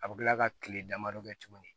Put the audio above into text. A bɛ kila ka kile damadɔ kɛ tuguni